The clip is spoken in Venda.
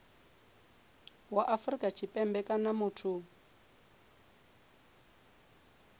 wa afrika tshipembe kana muthu